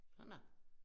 Sådan dér